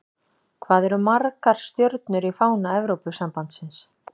Hvað eru margar stjörnur í fána Evrópusambandsins?